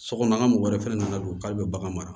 Sokɔnɔ an ka mɔgɔ wɛrɛ fɛnɛ nana don k'ale bɛ bagan mara